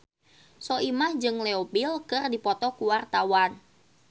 Soimah jeung Leo Bill keur dipoto ku wartawan